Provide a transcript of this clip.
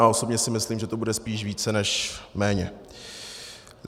A osobně si myslím, že je to spíš více než méně.